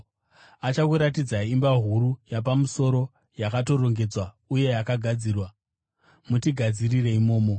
Achakuratidzai imba huru yapamusoro, yakatorongedzwa uye yakagadzirwa. Mutigadzirire imomo.”